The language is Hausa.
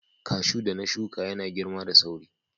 Cashew da na shuka yana girma da sauri.